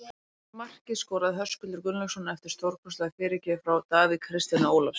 Markið skoraði Höskuldur Gunnlaugsson eftir stórkostlega fyrirgjöf frá Davíð Kristjáni Ólafssyni.